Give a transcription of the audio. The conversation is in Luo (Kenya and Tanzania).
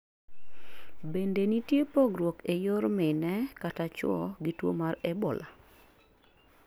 bende nitie pogruok ee yor mine kata chuo gi tuo mar Ebola?